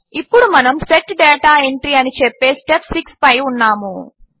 ఇప్పుడు మనము set data entry అని చెప్పే స్టెప్ 6 పై ఉన్నాము